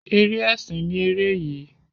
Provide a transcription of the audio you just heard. Eré ẹsìn ni ere yii.